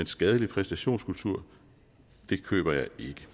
skadelig præstationskultur køber jeg ikke